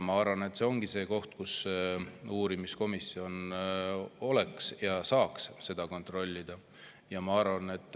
Ma arvan, et see ongi see koht, mida uurimiskomisjon saaks kontrollida.